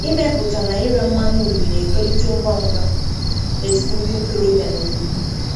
Ịmepụta na ire mmanụ uri na-etolite ngwa ngwa n’etiti ndị ntorobịa n’obodo.